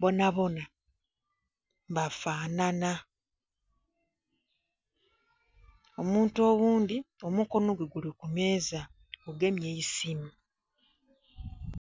bonabona bafanana omuntu oghundhi omukono gwe guli ku meeza gugemye isimu.